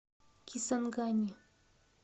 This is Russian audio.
кисангани